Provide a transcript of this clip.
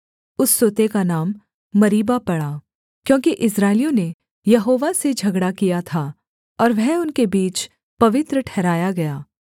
उस सोते का नाम मरीबा पड़ा क्योंकि इस्राएलियों ने यहोवा से झगड़ा किया था और वह उनके बीच पवित्र ठहराया गया